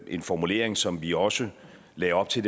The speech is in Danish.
en formulering som vi også lagde op til